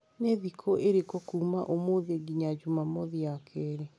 Nĩ thikũ ĩrĩkũ kuuma ũmũthĩ nginya Jumamothi ya kerĩ?